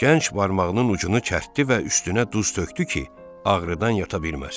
Gənc barmağının ucunu kərtdi və üstünə duz tökdü ki, ağrıdan yata bilməsin.